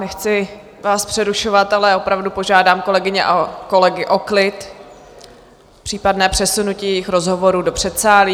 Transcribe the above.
Nechci vás přerušovat, ale opravdu požádám kolegyně a kolegy o klid, případné přesunutí jejich rozhovorů do předsálí.